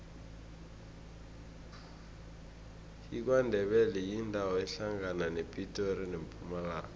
ikwandebele yindawo ehlangana nepitori nempumalanga